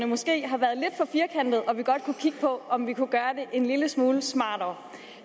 måske har været lidt for firkantede og vi godt kunne vi kigge på om vi kunne gøre det en lille smule smartere